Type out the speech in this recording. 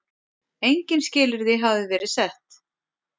Engin skilyrði hafi verið sett.